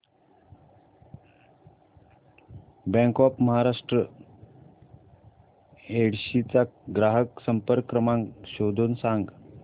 bank of Maharashtra Yedshi चा ग्राहक संपर्क क्रमांक शोधून सांग